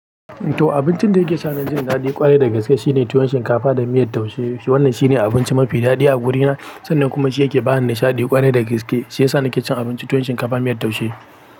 To abincin da yake sa ni jin daɗi ƙwarai da gaske shine tuwon shinkafa da miyar taushe. Wannan shine abinci mafi daɗi a wurina sannan kuma shi yake ba ni nishaɗi ƙwarai da gaske. Shiyasa na ke cin abinci tuwon shinkafa miyar taushe.